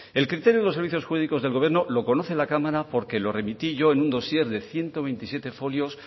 el criterio de los servicios jurídicos del gobierno lo conoce la cámara porque lo remití yo en un dossier de ciento veintisiete folios